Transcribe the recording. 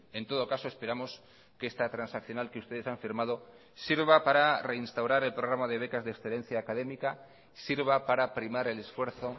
en todo caso esperamos que esta transaccional que ustedes han firmado sirva para reinstaurar el programa de becas de excelencia académica sirva para primar el esfuerzo